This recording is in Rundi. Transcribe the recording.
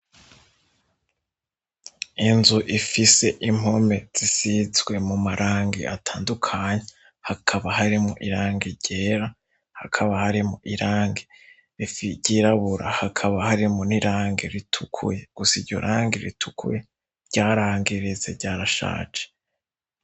Inzu ifise impome zisizwe mu marangi atandukanye, hakaba harimwo irangi ryera, hakaba harimwo irangi ryirabura, hakaba harimwo n'irangi ritukuye, gusa iryo rangi ritukurye ryarangiritse ryarashaje.